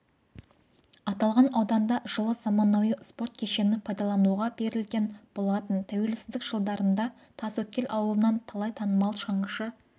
аталған ауданда жылы заманауи спорт кешені пайдалануға берілген болатын тәуелсіздік жылдарында тасөткел ауылынан талай танымал шаңғышы